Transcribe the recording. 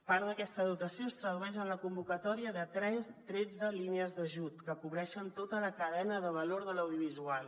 part d’aquesta dotació es tradueix en la convocatòria de tretze línies d’ajut que cobreixen tota la cadena de valor de l’audiovisual